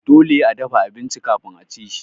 Dole a dafa abinci kafin aci shi.